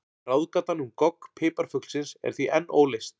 Ráðgátan um gogg piparfuglsins er því enn óleyst.